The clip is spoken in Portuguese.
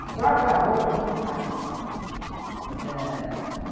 A própria roupa a gente fazia, ãh